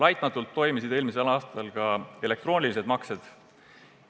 Laitmatult toimisid eelmisel aastal ka elektroonilised maksed.